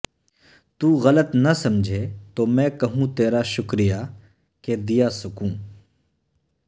تو غلط نہ سمجھے تو میں کہوں تیرا شکریہ کہ دیا سکوں